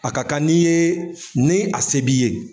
A ka kan n'i yee ni a se b'i ye